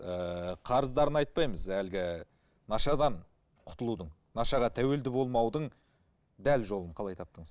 ыыы қарыздарын айтпаймыз әлгі нашадан құтылудың нашаға тәуелді болмаудың дәл жолын қалай таптыңыз